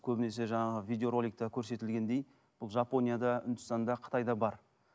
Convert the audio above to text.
көбінесе жаңағы видеороликте көрсетілгендей бұл жапонияда үндістанда қытайда бар